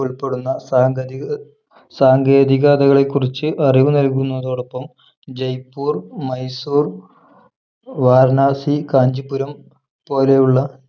ഉൾപ്പെടുന്ന സാങ്കേതിക സാങ്കേതികതകളെക്കുറിച്ച് അറിവ് നൽകുന്നതോടൊപ്പം ജയ്പൂർ മൈസൂർ വാരണാസി കാഞ്ചീപുരം പോലെയുള്ള